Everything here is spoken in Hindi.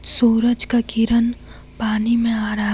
सूरज का किरण पानी में आ रहा--